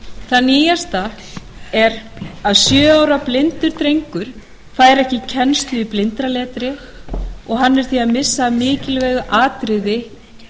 það nýjasta er að sjö ára blindur drengur fær ekki kennslu í blindraletri og hann missir því af mikilvægu atriði